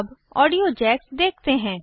अब audio jacks देखते हैं